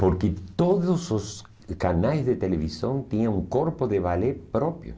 Porque todos os canais de televisão tinham um corpo de ballet próprio.